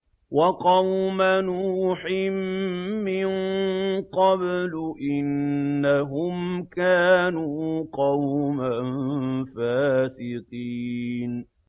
وَقَوْمَ نُوحٍ مِّن قَبْلُ ۖ إِنَّهُمْ كَانُوا قَوْمًا فَاسِقِينَ